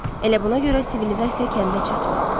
Elə buna görə sivilizasiya kəndə çatmayıb.